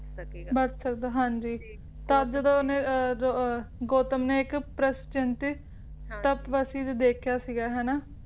ਬਚ ਸਕਦਾ ਹਾਂਜੀ ਤਦ ਜਦੋ ਓਹਨੇ ਅਹ ਗੌਤਮ ਨੇ ਇੱਕ ਪ੍ਰਸਚਿੰਤੀਤ ਤਪਵਸੀ ਦੇਖਿਆ ਸੀਗਾ ਹਨਾਂ